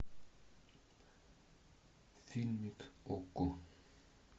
фильмик окко